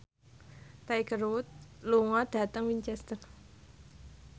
Tiger Wood lunga dhateng Winchester